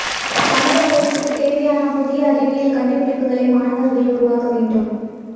சமூக வளர்ச்சிக்கு தேவையான புதிய அறிவியல் கண்டுபிடிப்புகளை மாணவர்கள் உருவாக்க வேண்டும்